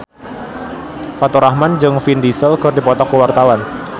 Faturrahman jeung Vin Diesel keur dipoto ku wartawan